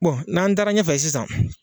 n'an taara ɲɛfɛ sisan